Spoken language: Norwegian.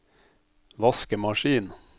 vaskemaskin